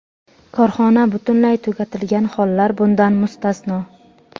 korxona butunlay tugatilgan hollar bundan mustasno.